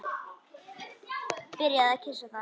Byrjar að kyssa það.